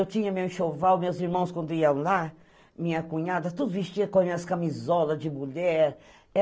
Eu tinha meu enxoval, meus irmãos quando iam lá, minha cunhada, tudo vestia com as minhas camisolas de mulher.